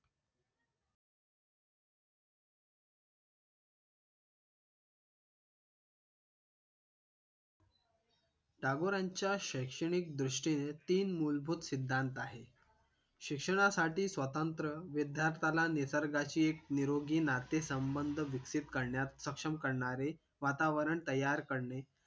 टागोरांच्या शैक्षणिक दृष्टीने तीन मूलभूत सिद्धांत आहे शिक्षणासाठी स्वतंत्र विद्यार्थ्याला निसर्गाशी एक निरोगी नाते संबंध विकसीत करण्यात सक्षम करणारे वातावरण तयार करणे